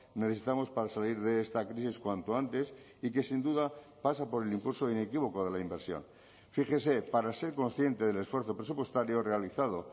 necesitamos para salir de esta crisis cuanto antes y que sin duda pasa por el impulso inequívoco de la inversión fíjese para ser consciente del esfuerzo presupuestario realizado